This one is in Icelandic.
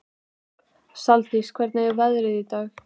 Saldís, hvernig er veðrið í dag?